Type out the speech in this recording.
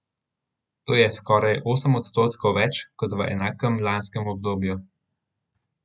To je skoraj osem odstotkov več kot v enakem lanskem obdobju.